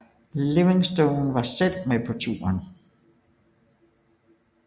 Livingston var selv med på turen